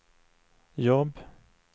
jobb